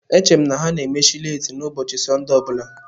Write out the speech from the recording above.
Echere m na ha ga-emechi leeti n'ụbọchị Sọnde ọ bụla.